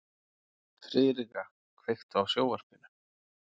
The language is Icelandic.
Friðrika, kveiktu á sjónvarpinu.